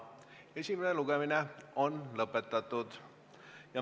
Esimene lugemine on lõpetatud.